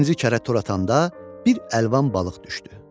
İkinci kərə tor atanda bir əlvan balıq düşdü.